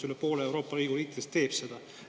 Üle poole Euroopa Liidu riikidest teeb seda.